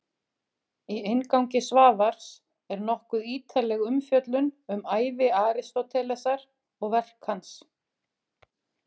Í inngangi Svavars er nokkuð ítarleg umfjöllun um ævi Aristótelesar og verk hans.